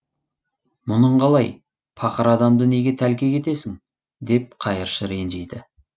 мұның қалай пақыр адамды неге тәлкек етесің деп қайыршы ренжиді